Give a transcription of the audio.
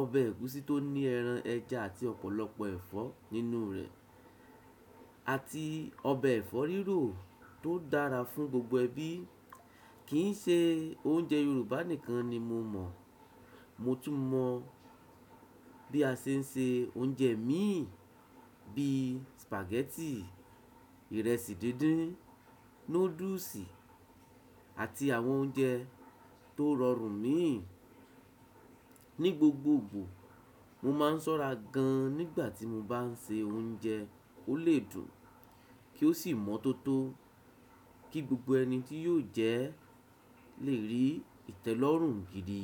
ọbẹ̀ ẹ̀gúsí tó ní ẹran ẹja àti ọ̀pọ̀lọpọ̀ ẹ̀fọ́ nínú rẹ̀, àti ọbẹ̀ ẹ̀fọ́ rírò tó dára fún gbogbo ẹbí. Kì n ṣe oúnjẹ Yorùbá nìkan ni mo mọ̀. Mo tún mọ bí a ṣe ń se oúnjẹ miì bíi sìpàgẹ́tì, ìrẹsì dídín, núdùsì àti àwọn oúnjẹ tó rọrùn míì. Ni gbogbogbò, mo máa ń ṣọ́ra gan-an nígbà tí mo bá ń ṣe oúnjẹ, ko lè dùn kí ó sì mọ́ tó tó kí gbogbo ẹni tí yóò jẹ lè rí ìtẹ́lọ́rùn gidi.